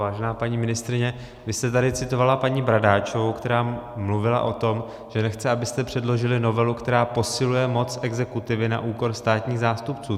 Vážená paní ministryně, vy jste tady citovala paní Bradáčovou, která mluvila o tom, že nechce, abyste předložili novelu, která posiluje moc exekutivy na úkor státních zástupců.